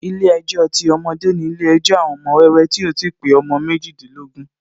Ilé ejò ti ọmọdé ni ilé ejò àwọn ọmọ wẹ́wẹ́ tí ò ti pé ọmọ méjìdínlógún